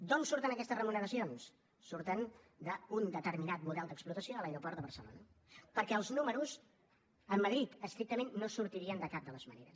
d’on surten aquestes remuneracions surten d’un determinat model d’explotació de l’aeroport de barcelona perquè els números amb madrid estrictament no sortirien de cap de les maneres